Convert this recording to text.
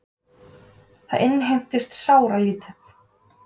Það innheimtist sáralítið.